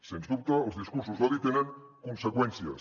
sens dubte els discursos d’odi tenen conseqüències